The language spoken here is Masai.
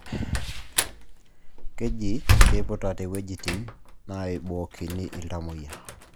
Keji keiputate ewuejitin naibookini iltamuoyia